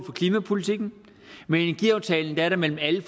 for klimapolitikken med energiaftalen er der mellem alle